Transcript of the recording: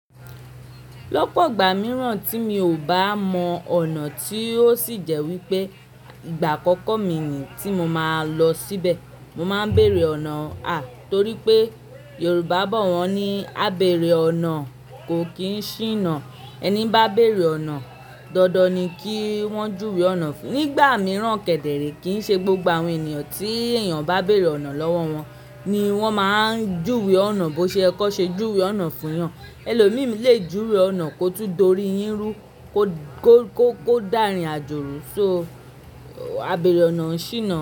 Lọ́pọ̀ ìgbà mìíràn tí mi o bá mọ ọ̀nà tí ó sì jẹ́ wípé ìgbà àkọ́kọ́ mi nìyìí tí mo máa lọ síbẹ Mo máa ń bèrè ọ̀nà, à torí pé Yorùbá bọ̀ wọ́n ní "Ábeèrè ọ̀nà kò kí ń ṣíná". Ẹni bá béèrè ọ̀nà, dandan ni kí wọ́n júwe ọ̀nà fún un. Nígbà mìíràn kẹ̀dẹ̀ rẹ̀é kì í ṣe gbogbo àwọn ènìyàn tí èèyàn bá bèrè ọ̀nà lọ́wọ́ wọn ni wọ́n máa ń júwe ọ̀nà. Bó ṣe yẹ kí wọn ṣe júwe ọ̀nà fún èèyàn. Ẹlòmíì lé jùwe ọ̀nà kótún dorí yín rú kò, kò, kò dá ìrìn àjò rù. So, a beèrè ọ̀nà ń ṣínà.